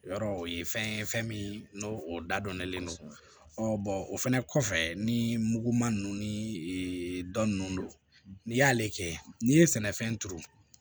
Yɔrɔ o ye fɛn ye fɛn min n'o dadɔnnen don o fɛnɛ kɔfɛ ni muguma ninnu ni dɔn ninnu don n'i y'ale kɛ n'i ye sɛnɛfɛn turu